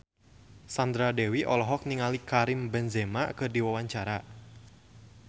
Sandra Dewi olohok ningali Karim Benzema keur diwawancara